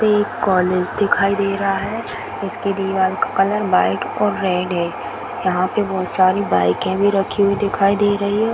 एक कॉलेज दिखाई दे रहा है इसकी दिवार का कलर व्हाइट और रेड है यहाँ पे बहुत सारे बाइके भी रखी हुई दिखाई दे रही है।